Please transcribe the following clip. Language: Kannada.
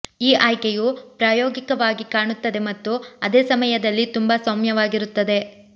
ಈ ಆಯ್ಕೆಯು ಪ್ರಾಯೋಗಿಕವಾಗಿ ಕಾಣುತ್ತದೆ ಮತ್ತು ಅದೇ ಸಮಯದಲ್ಲಿ ತುಂಬಾ ಸೌಮ್ಯವಾಗಿರುತ್ತದೆ